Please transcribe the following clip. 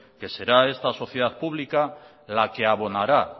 que será esta sociedad pública la que abonará